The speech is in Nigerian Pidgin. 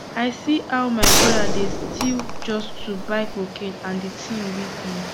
i see how my brother dey still just to buy cocaine and the thing weak me